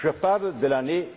européen. Je parle de